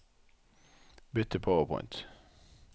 Bytt til PowerPoint